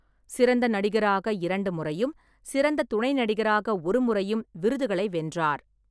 சிறந்த நடிகராக இரண்டு முறையும், சிறந்த துணை நடிகராக ஒரு முறையும் விருதுகளை வென்றார்.